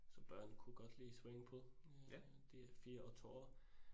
Så børn kunne godt lide swimmingpool øh. De 4 og 2 år